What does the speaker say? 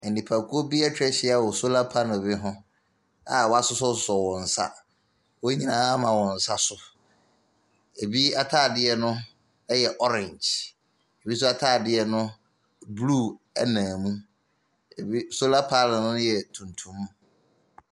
Nipakuo bi atwa ahyia wɔ solar panel ho a wɔasoɔsosɔ wɔn nsa. Wɔn nyinaa ama wɔn nsa so. Ɛbi atadeɛ no yɛ orange. Binso atadeɛ no, blue nam mu. Ɛbi solar panel no yɛ tuntum.